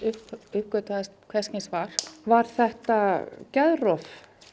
uppgötvaðist hvers kyns var var þetta geðrof